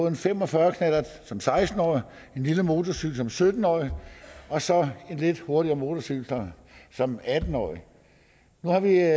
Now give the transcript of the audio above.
en fem og fyrre knallert som seksten årig en lille motorcykel som sytten årig og så en lidt hurtigere motorcykel som atten årig nu har vi